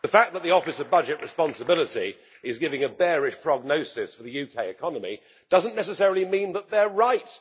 The fact that the Office of Budget Responsibility is giving a bearish prognosis for the UK economy does not necessarily mean that they are right.